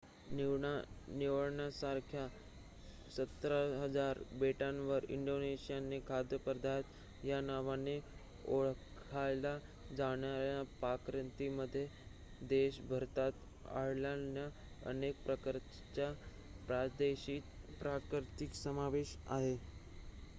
निवडण्यासारख्या १७,००० बेटांवर इंडोनेशियाचे खाद्यपदार्थ या नावाने ओळखल्या जाणाऱ्या पाककृतींमध्ये देशभरात आढळणाऱ्या अनेक प्रकारच्या प्रादेशिक पाककृतींचा समावेश आहे